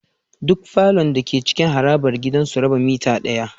Duk falon dake cikin harabar gidan suna raba mitter daya